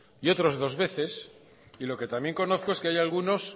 y otros dos veces y lo que también conozco es que hay algunos